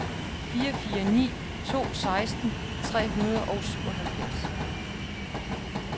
fire fire ni to seksten tre hundrede og syvoghalvfjerds